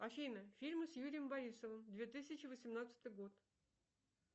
афина фильмы с юрием борисовым две тысячи восемнадцатый год